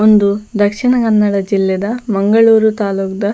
ಉಂದು ದಕ್ಷಿಣ ಕನ್ನಡ ಜಿಲ್ಲೆದ ಮಂಗಳೂರು ತಾಲುಕ್ ದ.